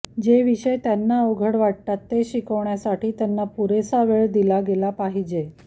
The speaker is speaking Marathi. जे विषय त्यांना अवघड वाटतात ते शिकण्यासाठी त्यांना पुरेसा वेळ दिला गेला पाहिजे